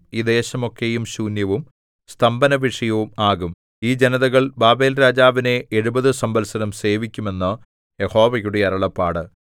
ഈ ദേശമൊക്കെയും ശൂന്യവും സ്തംഭനവിഷയവും ആകും ഈ ജനതകൾ ബാബേൽരാജാവിനെ എഴുപത് സംവത്സരം സേവിക്കും എന്ന് യഹോവയുടെ അരുളപ്പാട്